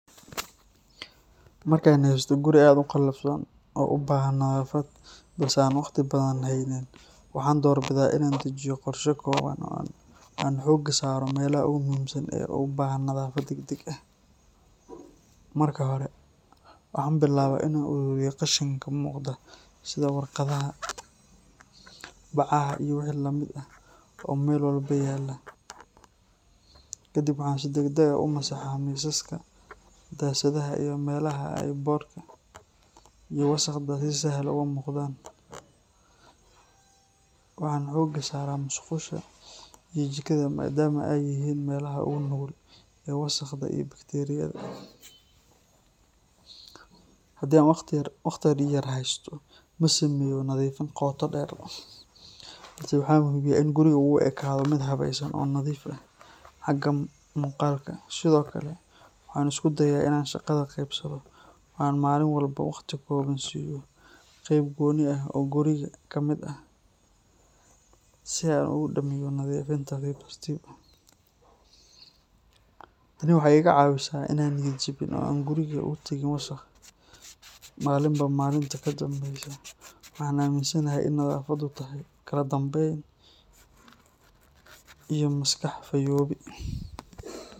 Markaan haysto guri aad u qalafsan oo u baahan nadaafad, balse aan waqti badan haynin, waxaan doorbidaa inaan dejiyo qorshe kooban oo aan xoogga saaro meelaha ugu muhiimsan ee u baahan nadaafad degdeg ah. Marka hore, waxaan bilaabaa inaan ururiyo qashinka muuqda sida warqadaha, bacaha iyo wixii la mid ah oo meel walba yaalla. Kadib waxaan si degdeg ah u masaxaa miisaska, daasadaha iyo meelaha ay boodhka iyo wasakhda si sahal ah uga muuqdaan. Waxaan xoogga saaraa musqusha iyo jikada maadaama ay yihiin meelaha ugu nugul ee wasakhda iyo bakteeriyada. Haddii aan waqti yar haysto, ma sameeyo nadiifin qoto dheer, balse waxaan hubiyaa in gurigu uu u ekaado mid habaysan oo nadiif ah xagga muuqaalka. Sidoo kale, waxaan isku dayaa inaan shaqada qaybsado oo aan maalin walba waqti kooban siiyo qayb gooni ah oo guriga ka mid ah si aan ugu dhammeeyo nadiifin tartiib tartiib ah. Tani waxay iga caawisaa inaanan niyad jabin oo aan guriga uga tagin wasakh maalinba maalinta ka dambaysa. Waxaan aaminsanahay in nadaafaddu tahay kala dambeyn iyo maskax fayoobi.